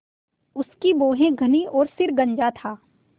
उसकी भौहें घनी और सिर गंजा था